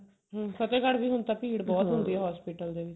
ਹਮ ਫਤੇਹਗਢ੍ਹ ਵੀ ਹੁਣ ਤਾਂ ਭੀੜ ਬਹੁਤ ਹੁੰਦੀ ਹੈ hospital ਦੇ ਵਿੱਚ